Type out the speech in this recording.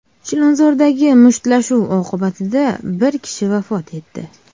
Chilonzordagi mushtlashuv oqibatida bir kishi vafot etdi.